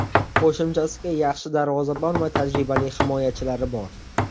Qo‘shimchasiga yaxshi darvozabon va tajribali himoyachilari bor.